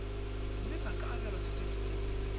mme ba ka abelwa setefikeiti